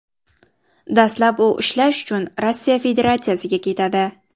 Dastlab u ishlash uchun Rossiya Federatsiyasiga ketadi.